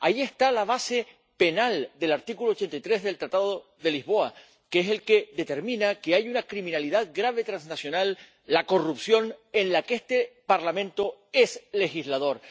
Ahí está la base penal del artículo 83 del Tratado de Lisboa, que es el que determina que hay una criminalidad transnacional grave, la corrupción, en la que este Parlamento es legislador.